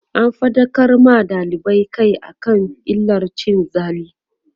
an faɗakar ma dalibai Kai akan illar cin zali